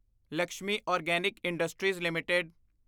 Lakshmi organic industries LTD